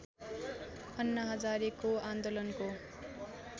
अन्ना हजारेको आन्दोलनको